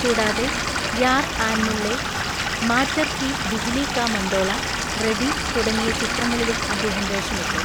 കൂടാതെ, യാർ ആൻമുള്ളെ, മാറ്ററ് കി ബിജ്‌ലീ കാ മണ്ടോള, റെഡി തുടങ്ങിയ ചിത്രങ്ങളിലും അദ്ദേഹം വേഷമിട്ടു.